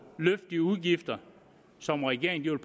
løfte de udgifter som regeringen